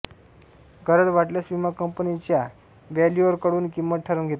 गरज वाटल्यास विमा कंपनीच्या व्हॅल्युअरकडून किंमत ठरवून घेता येते